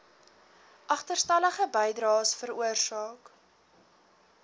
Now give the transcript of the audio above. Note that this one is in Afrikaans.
agterstallige bydraes veroorsaak